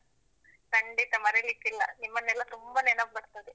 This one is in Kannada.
ಖಂಡಿತ ಮರೆಯಲಿಕ್ಕಿಲ್ಲ. ನಿಮ್ಮನೆಲ್ಲಾ ತುಂಬಾ ನೆನಪು ಬರ್ತದೆ.